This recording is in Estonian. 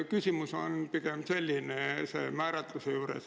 Küsimus on selline.